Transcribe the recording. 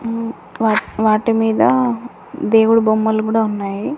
హ్మ్మ్ వాటి వాటి మీద దేవుడు బొమ్మలు కూడా ఉన్నాయి.